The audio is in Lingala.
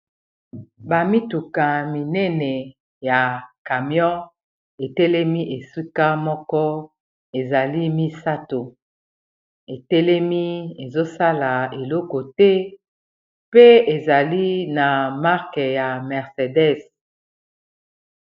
bamituka minene ya camion etelemi esika moko ezali misato etelemi ezosala eloko te pe ezali na marke ya mercedes